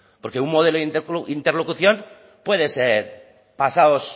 porque un modelo de interlocución puede ser pasaos